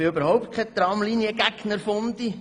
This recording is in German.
Ich bin überhaupt kein Tramliniengegner-«Fundi».